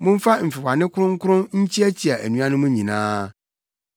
Momfa mfewano kronkron nkyiakyia anuanom nyinaa.